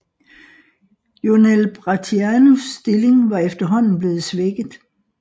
Jonel Bratianus stilling var efterhånden bleven svækket